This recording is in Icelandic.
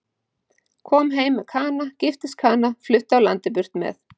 Kom heim með Kana, giftist Kana, flutti af landi burt með